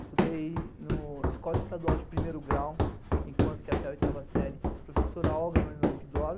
Estudei no Escola Estadual de Primeiro Grau, enquanto que até a oitava série, professora Olga Marinovic Dório,